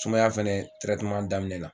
Sumaya fɛnɛ daminɛ na